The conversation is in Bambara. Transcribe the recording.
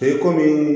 E komi